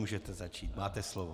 Můžete začít, máte slovo.